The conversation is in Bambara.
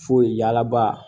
Foyi yaalaba